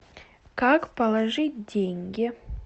как положить деньги